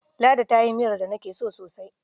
Ladi ta yi miyar da nake so sosai.